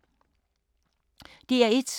DR1